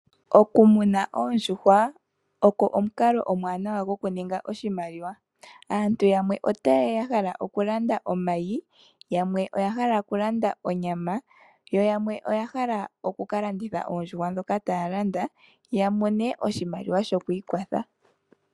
Okumuna oondjuhwa oko omukalo omuwanawa gokuninga oshimaliwa. Aantu yamwe otayeya yahala okulanda omayi yamwe oyahala okulanda onyama yo yamwe oyahala oku kalanditha oondjuhwa ndhoka taya landa yamone oshimaliwa shokwiikwatha.